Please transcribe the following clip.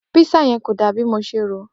Pisa yẹ kó dà bi mo se ro